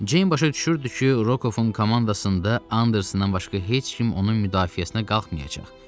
Ceyn başa düşürdü ki, Rokovun komandasında Andersondan başqa heç kim onun müdafiəsinə qalxmayacaq.